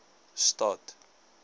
stad